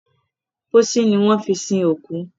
Pósí ni wón fí sin òkú.